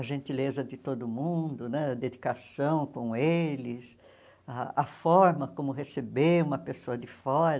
A gentileza de todo mundo né, a dedicação com eles, ah a forma como receber uma pessoa de fora.